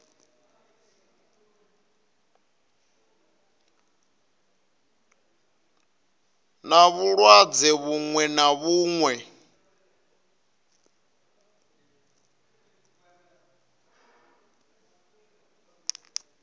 na vhulwadze vhuṅwe na vhuṅwe